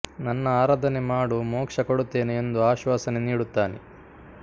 ನನ್ನ ಆರಾಧನೆ ಮಾಡು ಮೋಕ್ಷ ಕೊಡುತ್ತೇನೆ ಎಂದು ಆಶ್ವಾಸನೆ ನೀಡುತ್ತಾನೆ